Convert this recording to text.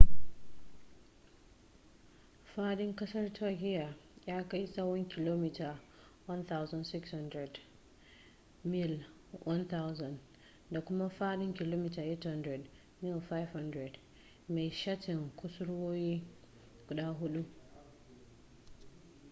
faɗin ƙasar turkiyya ya kai tsawon kilomita 1,600 mil 1,000 da kuma faɗin kilomita 800 mil 500 mai shatin kusurwoyi guda huɗu